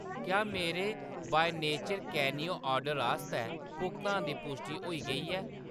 क्या मेरे बॉई नेचर कैनियो ऑर्डर आस्तै भुगतान दी पुश्टि होई गेई ऐ ?